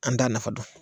An t'a nafa dɔn